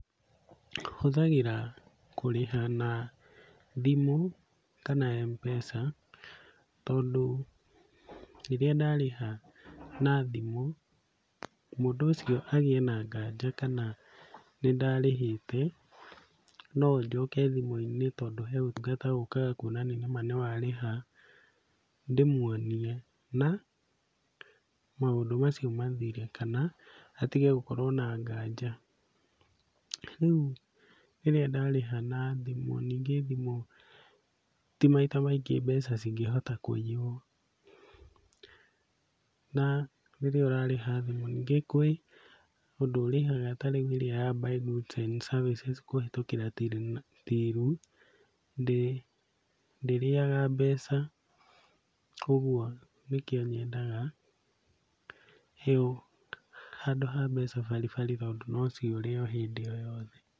Hũthagĩra kũrĩha na thimũ kana Mpesa, tondũ rĩrĩa ndarĩha na thimũ mũndũ ũcio agĩe na nganja kana nĩndarĩhĩte, no njoke thimũ-inĩ tondũ he ũtungata ũkaga kuonania nĩma nĩwarĩha, ndĩmuonie na maũndũ macio mathire kana atige gũkorwo na nganja. Rĩu rĩrĩa ndarĩha na thimũ, ningĩ thimũ ti maita maingĩ mbeca cingĩhota kũiywo, na rĩrĩa ũrarĩha thimũ, ningĩ kwĩ ũndũ ũrĩhaga tarĩu ĩrĩa ya buy goods and services kũhĩtũkĩra tiru, ndĩrĩaga mbeca, kuoguo nĩkĩo nyendaga heo handũ ha mbeca baribari tondũ nociũre o hĩndĩ o yothe.